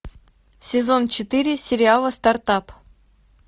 сезон четыре сериала стартап